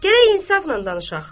Gərək insafla danışaq.